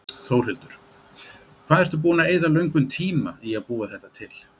Þórhildur: Hvað ertu búinn að eyða löngum tíma í að búa þetta til?